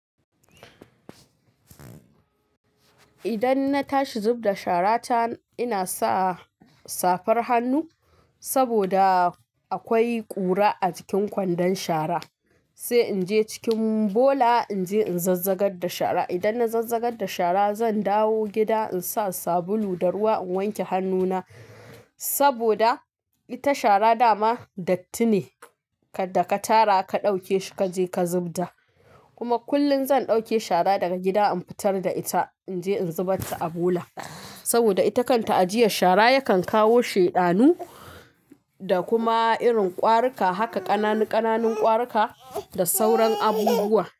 Idan na tashi zub da shara ta, ina sa safar hannu saboda akwai ƙura a cikin kwandon shara. Sai in je cikin bola in je in zazzagar da shara. Idan na zazzagar da shara, zan dawo gida in sa sabulu da ruwa in wanke hannuna saboda ita shara dama datti ne da ka tara ka ɗauke shi kaje ka zub da. Kuma kullum zan ɗauke shara daga gida in fitar da ita in je in zubar ta a bola saboda ita kan ta ajiye shara yakan kawo sheɗanu da kuma irin ƙwarika, haka ƙananan ƙwarika da sauran abubuwa.